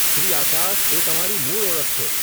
શ્રી આકાશ એ તમારી મૂળ ઓળખ છે.